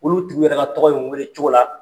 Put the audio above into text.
Olu tun yɛrɛ ka tɔgɔ in weele cogo la